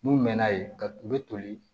N'u mɛna yen ka u bɛ toli